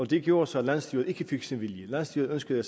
det gjorde så at landsstyret ikke fik sin vilje landsstyret ønskede